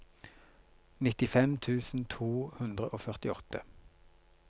nittifem tusen to hundre og førtiåtte